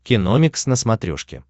киномикс на смотрешке